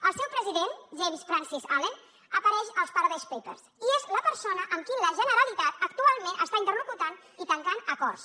el seu president james francis allen apareix als paradise papers i és la persona amb qui la generalitat actualment està interlocutant i tancant acords